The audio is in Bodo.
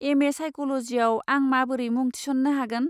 एम ए साइक'ल'जिआव आं माबोरै मुं थिसन्नो हागोन?